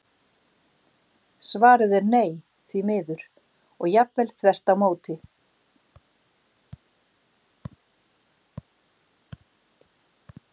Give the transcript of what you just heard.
Svarið er nei, því miður, og jafnvel þvert á móti!